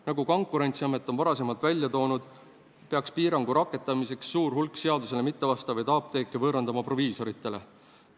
Nagu Konkurentsiamet on varasemalt välja toonud, peaks piirangu rakendamiseks suur hulk seaduse nõuetele mittevastavaid apteeke võõrandama proviisoritele.